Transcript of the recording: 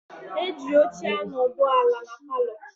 Eji óche anodu ala n' paló.